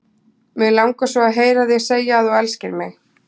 Mig langar svo að heyra þig segja að þú elskir mig!